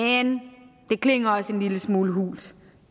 det klinger også en lille smule hult